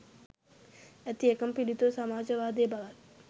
ඇති එකම පිළිතුර සමාජවාදය බවත්